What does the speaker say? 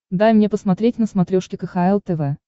дай мне посмотреть на смотрешке кхл тв